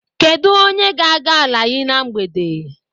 Kedụ onye ga-aga Alayi na mgbede?